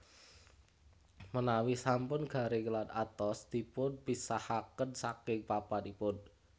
Menawi sampun garing lan atos dipunpisahaken saking papanipun